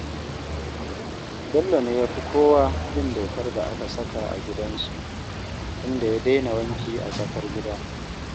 Bello ne ya fi kowa bin dokar da aka saka a gidansu, inda ya daina wanki a tsakar gida